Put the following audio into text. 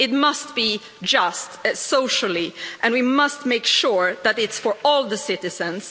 It must be socially just and we must make sure that it's for all the citizens.